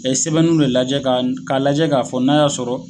A ye sɛbɛnnu ne lajɛ k'a lajɛ k'a fɔ n'a y'a sɔrɔ